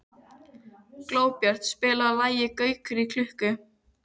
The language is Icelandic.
Glóbjört, spilaðu lagið „Gaukur í klukku“.